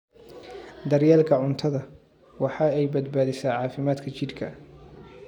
Daryeelka cuntada waxa ay badbaadisaa caafimaadka jidhka.